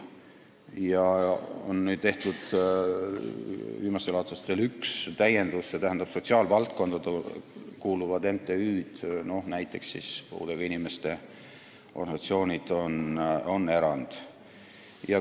Ja viimastel aastatel on tehtud üks täiendus: sotsiaalvaldkonda kuuluvad MTÜ-d, näiteks puudega inimeste organisatsioonid, on erand.